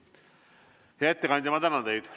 Hea ettekandja, ma tänan teid!